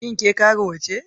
Shin ke karuwa ce?